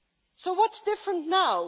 So what is different now?